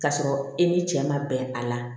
K'a sɔrɔ e ni cɛ ma bɛn a la